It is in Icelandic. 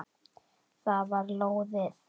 Það var lóðið!